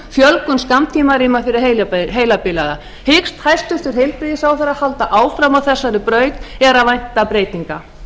fjölgun úrræða í dagþjálfun fjölgun skammtímarýma fyrir heilabilaða hyggst hæstvirtur heilbrigðisráðherra halda áfram á þessari braut er að vænta breytinga